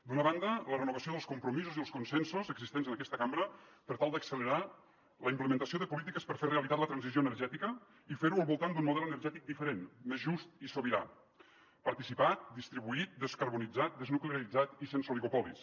d’una banda la renovació dels compromisos i els consensos existents en aquesta cambra per tal d’accelerar la implementació de polítiques per fer realitat la transició energètica i fer ho al voltant d’un model energètic diferent més just i sobirà participat distribuït descarbonitzat desnuclearitzat i sense oligopolis